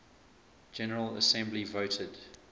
general assembly voted